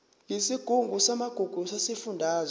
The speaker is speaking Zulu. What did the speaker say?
yesigungu samagugu sesifundazwe